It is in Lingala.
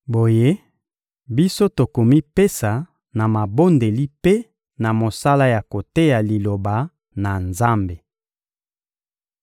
Boye, biso tokomipesa na mabondeli mpe na mosala ya koteya Liloba na Nzambe.